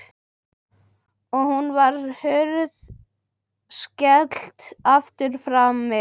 Og nú var hurð skellt aftur frammi.